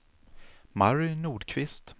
Mary Nordqvist